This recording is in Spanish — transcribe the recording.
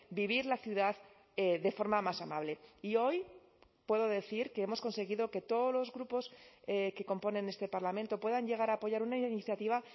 vivir la ciudad de forma más amable y hoy puedo decir que hemos conseguido que todos los grupos que componen este parlamento puedan llegar a apoyar una iniciativa